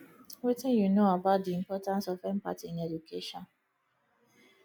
wetin you know about di importance of empathy in education